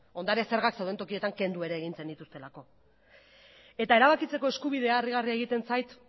ondare zergak zeuden tokietan kendu ere egin zenituztelako eta erabakitzeko eskubidea harrigarria egiten zait